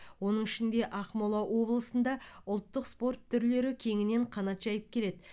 оның ішінде ақмола облысында ұлттық спорт түрлері кеңінен қанат жайып келеді